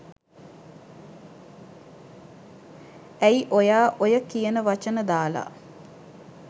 ඇයි ඔයා ඔය කියන වචන දාලා